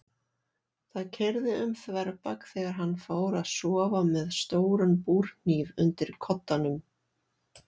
Það keyrði um þverbak þegar hann fór að sofa með stóran búrhníf undir koddanum.